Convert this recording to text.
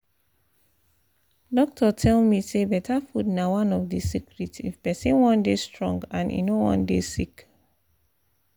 doctor tell me say better food na one of the secret if person wan dey strong and e no wan dey sick